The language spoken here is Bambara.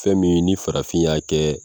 Fɛn min ni farafin ya kɛ.